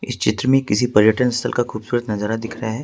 इस चित्र में किसी पर्यटक स्थल का खूबसूरत नजारा दिख रहा है।